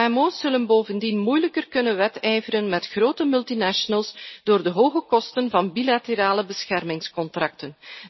Kmo's zullen bovendien moeilijker kunnen wedijveren met grote multinationals door de hoge kosten van bilaterale beschermingscontracten.